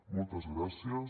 moltes gràcies